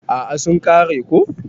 A'a sun kare ko.